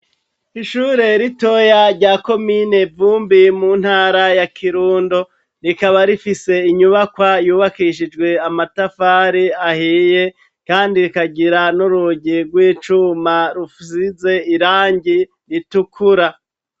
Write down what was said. Ishure ritoya rya komine Vumbi mu ntara ya Kirundo, rikaba rifise inyubakwa yubakishijwe amatafari ahiye kandi rikagira n'urugi rw'icuma rusize irangi ritukura.